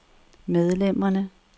medlemmerne